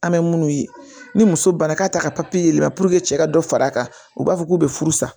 An bɛ minnu ye ni muso banna k'a ta ka yɛlɛma puruke cɛ ka dɔ far'a kan u b'a fɔ k'u bɛ furu sa